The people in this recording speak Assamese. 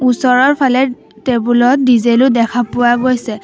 ওচৰৰফালে টেবুল ত ডিজেল ও দেখা পোৱা গৈছে।